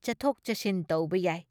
ꯆꯠꯊꯣꯛ ꯆꯠꯁꯤꯟ ꯇꯧꯕ ꯌꯥꯏ ꯫